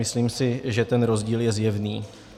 Myslím si, že ten rozdíl je zjevný.